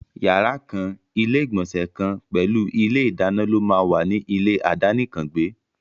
Yàrá kan, ilé ìgbònsè kan pèlú ilé ìdáná ló máà wà ní ilé àdánìkàn gbẹ́.